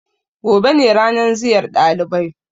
Gobe ne ranan ziyar ɗalibai.